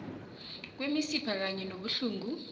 kwemisipha kanye nobuhlungu